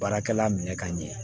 Baarakɛla minɛ ka ɲɛ